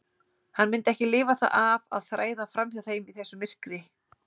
Hann myndi ekki lifa það af að þræða fram hjá þeim í þessu myrkri.